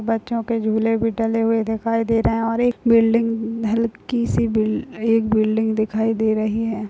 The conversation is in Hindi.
बच्चो के झूले भी डले हुए दिखाई दे रहे है और एक बिल्डिंग हल्की सी बिल एक बिल्डिंग भी दिखाई दे रही है।